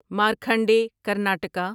Markhande Karnataka